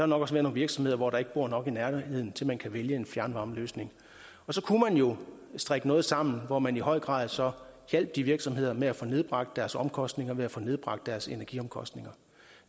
nok også være nogle virksomheder hvor der ikke bor nok i nærheden til at man kan vælge en fjernvarmeløsning så kunne man jo strikke noget sammen hvor man i høj grad så hjalp de virksomheder med at få nedbragt deres omkostninger ved at få nedbragt deres energiomkostninger